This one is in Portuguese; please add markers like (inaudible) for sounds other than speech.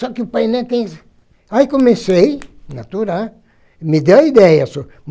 Só que o painel tem... Aí comecei, (unintelligible) me deu a ideia sô.